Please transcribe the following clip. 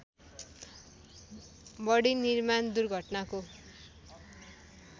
बढी निर्माण दुर्घटनाको